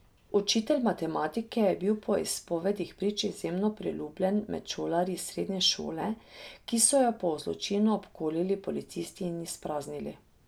Učitelj matematike je bil po izpovedih prič izjemno priljubljen med šolarji srednje šole, ki so jo po zločinu obkolili policisti in izpraznili.